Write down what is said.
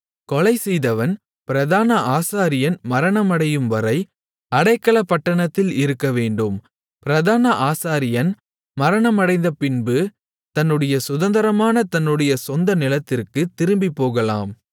கொலைசெய்தவன் பிரதான ஆசாரியன் மரணமடையும்வரை அடைக்கலப்பட்டணத்தில் இருக்கவேண்டும் பிரதான ஆசாரியன் மரணமடைந்தபின்பு தன்னுடைய சுதந்தரமான தன்னுடைய சொந்த நிலத்திற்குத் திரும்பிப்போகலாம்